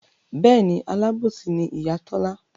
Bẹ́ẹ̀ni alábòsí ni Ìyá Tọ́lá